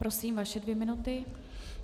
Prosím, vaše dvě minuty.